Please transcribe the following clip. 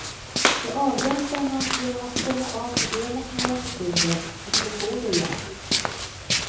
Det avhjälper man genom att stänga av modemet några sekunder och slå på det igen.